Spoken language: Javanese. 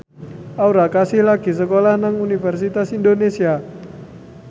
Aura Kasih lagi sekolah nang Universitas Indonesia